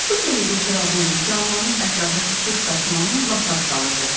Bu sehirli çırağın canlanıb ətrafa işıq saçmağına lap az qalırdı.